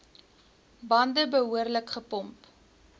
bande behoorlik gepomp